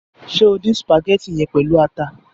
Ṣe o dín sùpàgétì yẹn pẹlu ata?